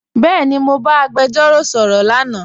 Bẹẹni, Mọ ba agbẹjọro sọrọ lánà.